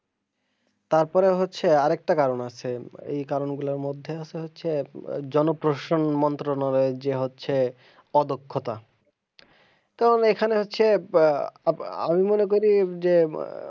তারপরে হচ্ছে আরেকটা কারন আছে এই কারন গুলার মধ্যে আছে হচ্ছে জনপ্রসন মন্ত্রনালয়ে যে আছে অদক্ষতা তাহলে এখানে হচ্ছে আহ আমি মনে করি যে,